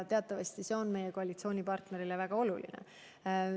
Teatavasti on see meie koalitsioonipartnerile väga oluline.